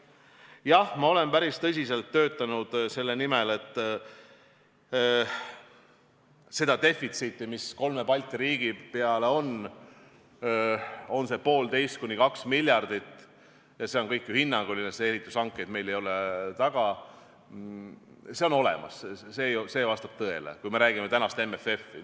Jah, ma olen päris tõsiselt töötanud selle nimel, et seda defitsiiti, mis kolme Balti riigi peale on, 1,5–2 miljardit – see on kõik ju hinnanguline, sest meil ei ole veel ehitushankeid taga –, see on olemas, see vastab tõele, kui me räägime praegusest MFF-ist.